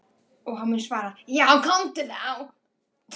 Og hann mun svara:- Já komdu þá.